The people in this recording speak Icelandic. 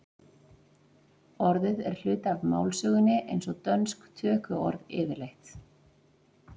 orðið er hluti af málsögunni eins og dönsk tökuorð yfirleitt